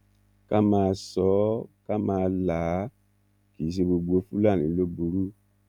ká máa sọ ọ ká máa là á kì í ṣe gbogbo fúlàní ló burú